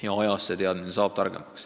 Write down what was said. Ajaga saame neid teadmisi juurde.